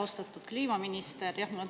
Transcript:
Austatud kliimaminister!